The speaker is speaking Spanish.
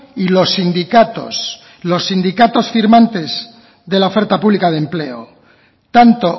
y los sindicatos los sindicatos firmantes de la oferta pública de empleo tanto